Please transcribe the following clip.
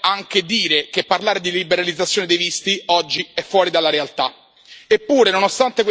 E così lo è anche dire che parlare di liberalizzazione dei visti oggi è fuori dalla realtà.